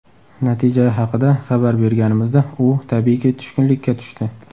Natija haqida xabar berganimizda, u, tabiiyki tushkunlikka tushdi.